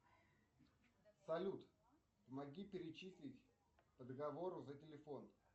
салют помоги перечислить по договору за телефон